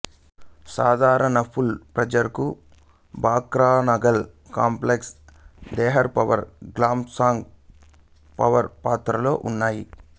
సాధారణ పూల్ ప్రాజెక్టులు Bhakra Nangal complex Dehar power plant Pong power ప్లాంట్లలో ఉన్నాయి